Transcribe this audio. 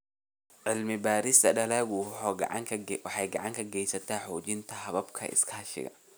Cilmi-baarista dalaggu waxay gacan ka geysataa xoojinta hababka iskaashiga.